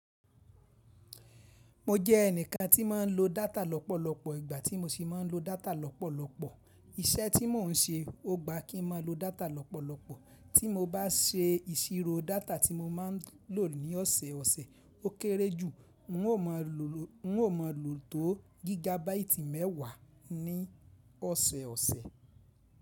Mo jẹ́ ẹnìkan tí ma ń lo data lọ́pọ̀lọpọ̀, ìgbà tí mo ṣii n ma ń lo data lọ́pọ̀lọpọ̀, iṣẹ́ tí mò ń ṣe ó gba kí n má lo data lọ́pọ̀lọpọ̀. Tí mo bá se ìṣirò data tí mo ma ń lò ní ọ̀sẹ̀ ọ̀sẹ̀ ó kéré jù, mo maa lo n ó máa lò tó gigabaìtì mẹ́wàá ní ọ̀sẹ̀ ọ̀sẹ̀.